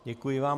Děkuji vám.